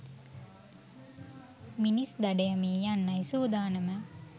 මිනිස් දඩයමේ යන්නයි සුදානම